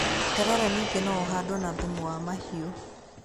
Terere ningĩ no ũhandwo na thumu wa mahĩu.